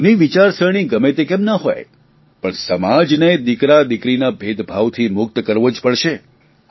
આપણી જૂની વિચારસરણી ગમે તે કેમ ના હોય પણ સમાજને દીકરાદીકરીના ભેદભાવથી મુક્ત કરવો જ પડશે